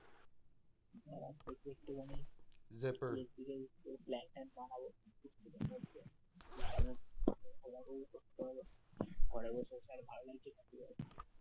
দেখি একটুখানি বানাবো, সবাইকেই করতে হবে পরের বছর